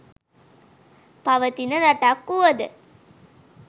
පවතින රටක් වූවද